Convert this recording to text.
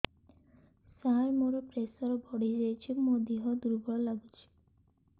ସାର ମୋର ପ୍ରେସର ବଢ଼ିଯାଇଛି ମୋ ଦିହ ଦୁର୍ବଳ ଲାଗୁଚି